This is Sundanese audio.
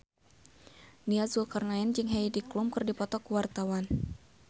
Nia Zulkarnaen jeung Heidi Klum keur dipoto ku wartawan